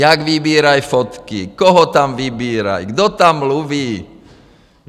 Jak vybírají fotky, koho tam vybírají, kdo tam mluví.